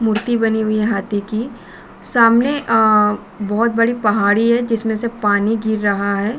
मूर्ति बनी हुई है हाथी की। सामने उम् बहुत बड़ी पहाड़ी है जिसमे से से पानी गिर रहा है।